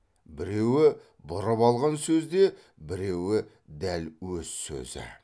біреуі бұрып алған сөз де біреуі дәл өз сөзі